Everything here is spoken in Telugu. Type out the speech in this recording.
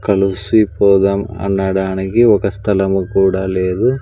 కలిసి పోదాం అనడానికి ఒక స్థలము కూడా లేదు.